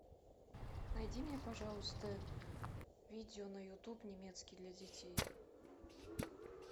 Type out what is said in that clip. найди мне пожалуйста видео на ютуб немецкий для детей